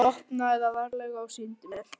Hún opnaði það varlega og sýndi mér.